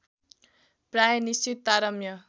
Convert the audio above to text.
प्राय निश्चित तारतम्य